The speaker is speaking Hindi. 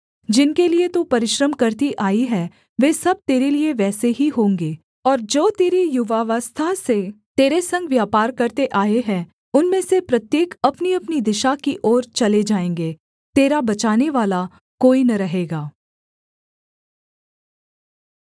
जिनके लिये तू परिश्रम करती आई है वे सब तेरे लिये वैसे ही होंगे और जो तेरी युवावस्था से तेरे संग व्यापार करते आए हैं उनमें से प्रत्येक अपनीअपनी दिशा की ओर चले जाएँगे तेरा बचानेवाला कोई न रहेगा